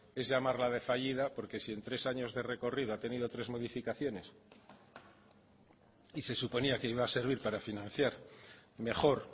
es de llamarla ave fallida porque si en tres años de recorrido ha tenido tres modificaciones y se suponía que iba a servir para financiar mejor